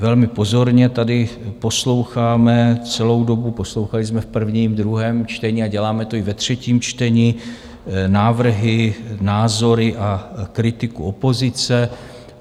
Velmi pozorně tady posloucháme celou dobu, poslouchali jsme v prvním, druhém čtení a děláme to i ve třetím čtení, návrhy, názory a kritiku opozice.